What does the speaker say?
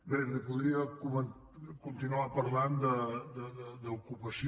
bé li podria continuar parlant d’ocupació